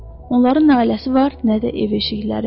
Onların nə ailəsi var, nə də ev-eşikləri.